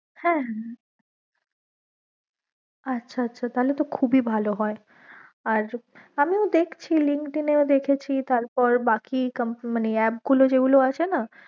হ্যাঁ আচ্ছা আচ্ছা তাহোলে তো খুব ই ভালো হয়ে আমিও দেখছি LinkedIn এ ও দেখেছি তারপর বাকি app গুলো যে গুলো আছে না